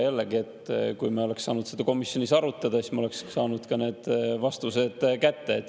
Jällegi, kui me oleks saanud seda komisjonis arutada, siis me oleksime saanud ka need vastused kätte.